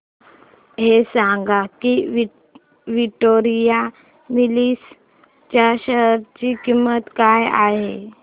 हे सांगा की विक्टोरिया मिल्स च्या शेअर ची किंमत काय आहे